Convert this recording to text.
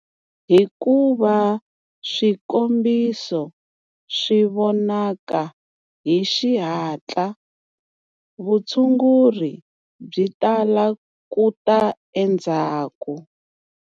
Hikuva swikombiso swi vonaka hi xihatla, vutshunguri byi tala ku ta endzhaku.